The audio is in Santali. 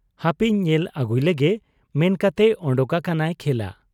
ᱦᱟᱯᱮᱧ ᱧᱮᱞ ᱟᱹᱜᱩᱞᱮᱜᱮ' ᱢᱮᱱᱠᱟᱛᱮ ᱚᱰᱚᱠ ᱟᱠᱟᱱᱟᱭ ᱠᱷᱮᱞᱟ ᱾